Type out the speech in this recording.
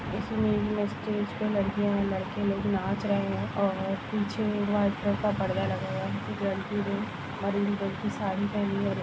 इसमें स्टेज पे लड़कियां और लड़के लोग नाच रहे है और पिछे वाइट कलर का पर्दा लगा हुआ है। रेड ग्रीन ऑरेंज कलर की साड़ी पहनी --